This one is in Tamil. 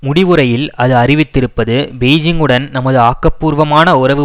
முடிவுரையில் அது அறிவித்திருப்பது பெய்ஜிங்குடன் நமது ஆக்கபூர்வமான உறவு